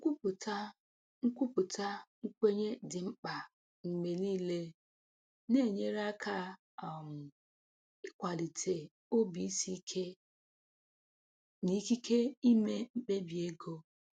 Nkwupụta Nkwupụta nkwenye dị mma mgbe niile n'enyere aka um ịkwalite obi isi ike n'ikike ime mkpebi ego.